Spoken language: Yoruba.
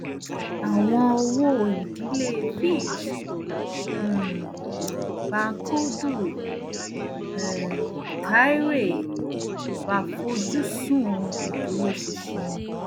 àwọn owóìdílé fitch um um àfojúsùn ìdúróṣinṣin